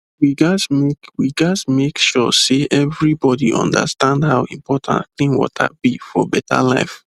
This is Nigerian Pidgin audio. we gats make we gats make sure say everybody understand how important clean water be for better life